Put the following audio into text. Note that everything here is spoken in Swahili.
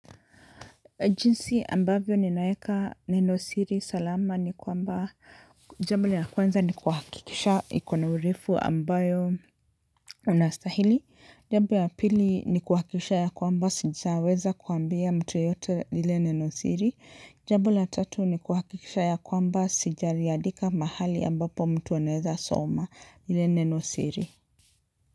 Jinsi ambavyo ni naeka neno siri salama ni kwamba jambo la kweanza ni kuhakikisha ikona urefu ambayo unastahili, jambuo ya pili ni kuhakikisha ya kwamba sijaweza kuambia mtu yoyote lile neno siri, jambu ya tatu ni kuhakikisha ya kwamba sijaliandika mahali ambapo mtu anaweza soma lile neno siri.